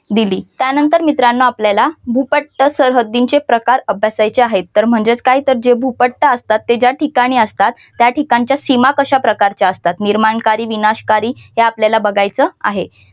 दिली त्यानंतर मित्रांनो आपल्याला भूपट्ट सरहद्दीचे प्रकार अभ्यासायचे आहेत तर म्हणजेच काय जे भूपट्ट असतात ते ज्या ठिकाणी असतात त्या ठिकाणच्या सीमा कशा प्रकारचे असतात. निर्माणकारी विनाशकारी हे आपल्याला बघायचं आहे.